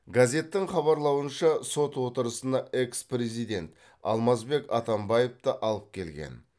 газеттің хабарлауынша сот отырысына экс президент алмазбек атамбаевты алып келген